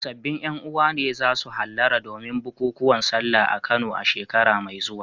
Sabbin ƴan uwa ne za su hallara domin bukukuwan Sallah a Kano a shekara mai zuwa.